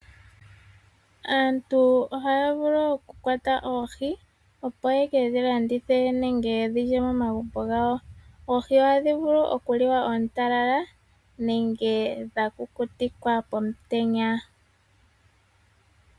Aantu ohaya vulu okukwata oohi opo ye ke dhi landithe po nenge ya ka lye komaagumbo gawo. Oohi ohadhi vulu oku li wa oontalala nenge dha kukutikwa pomutenya.